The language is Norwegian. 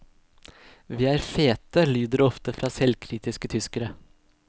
Vi er fete, lyder det ofte fra selvkritiske tyskere.